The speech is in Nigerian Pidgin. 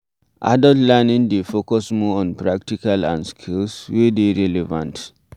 Adult learning dey focus more on practical and skills wey dey r eleven t